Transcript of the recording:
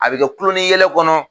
A bɛ kɛ kulon ni yɛlɛ kɔnɔ